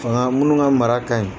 Fanga minnu ka mara ka ɲi